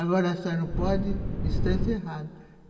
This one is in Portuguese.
Agora a senhora não pode, está encerrado.